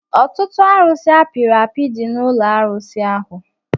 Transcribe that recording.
Ọtụtụ arusi apiri api dị n'ụlọ arụsi ahụ